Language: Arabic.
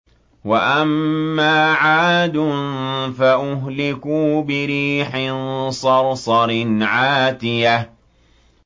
وَأَمَّا عَادٌ فَأُهْلِكُوا بِرِيحٍ صَرْصَرٍ عَاتِيَةٍ